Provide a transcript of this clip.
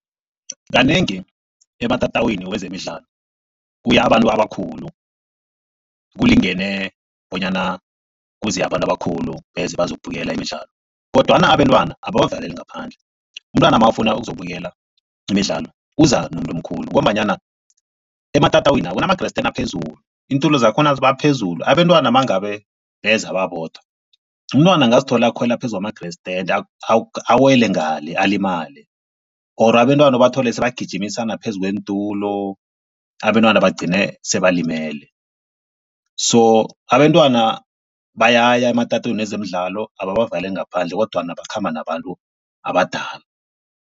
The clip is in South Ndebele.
Kanengi, ematatawini wezemidlalo kuya abantu abakhulu. Kulingene bonyana kuze abantu abakhulu beze bazokubukela imidlalo kodwana abentwana ababavaleli ngaphandle. Umntwana mawufuna ukuzokubukela imidlalo uza nomuntu omkhulu ngombanyana ematatawinina kunama-grand stand aphezulu iintulo zakhona ziba phezulu. Abentwana mangabe beza babodwa, umntwana angazithola akhwela phezu kwama-grand stand awele ngale alimale or abentwana ubathole sebagijimisana phezu kweentulo abentwana bagcine sebalimele. So abentwana bayaya ematatawini wezemidlalo ababavaleli ngaphandle kodwana bakhamba nabantu abadala.